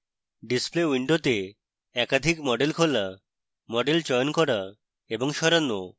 display window একাধিক model খোলা model চয়ন করা এবং সরানো